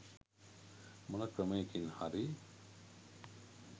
මොන ක්‍රමයකින් හරි